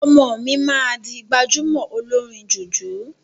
Ọmọ mi maa di gbajúmọ̀ olórin jùjú.